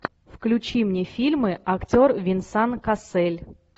включи мне фильмы актер венсан кассель